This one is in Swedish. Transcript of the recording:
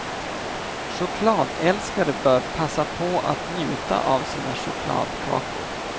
Chokladälskare bör passa på att njuta av sina chokladkakor.